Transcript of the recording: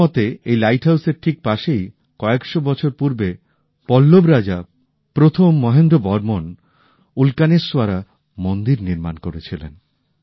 ওঁর মতে এই লাইটহাউসের ঠিক পাশেই কয়েকশো বছর আগে পল্লব রাজা মহেন্দ্র বর্মনপ্রথম উল্কনেস্বরা মন্দির নির্মাণ করেছিলেন